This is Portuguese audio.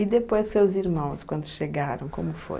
E depois seus irmãos, quando chegaram, como foi?